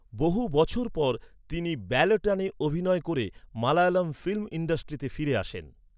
বহু বছর পর, তিনি ব্যালেটানে অভিনয় করে মালায়লাম ফিল্ম ইন্ডাস্ট্রিতে ফিরে আসেন।